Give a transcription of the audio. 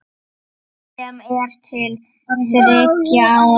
sem er til þriggja ára.